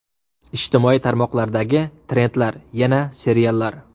Ijtimoiy tarmoqlardagi trendlar: Yana seriallar.